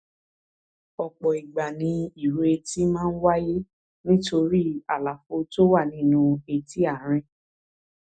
ọpọ ìgbà ni ìró etí máa ń wáyé nítorí àlàfo tó wà nínú etí àárín